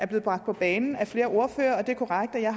blevet bragt på banen af flere ordførere det er korrekt at jeg